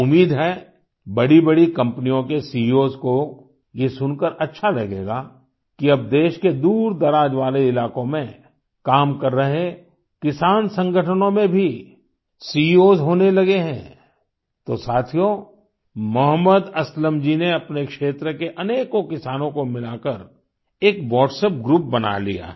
उम्मीद है बड़ी बड़ी कम्पनियों के सीईओएस को ये सुनकर अच्छा लगेगा कि अब देश के दूर दराज वाले इलाको में काम कर रहे किसान संगठनों मे भी सीईओएस होने लगे हैं तो साथियो मोहम्मद असलम जी ने अपने क्षेत्र के अनेकों किसानों को मिलाकर एक WhatsApp ग्रुप बना लिया है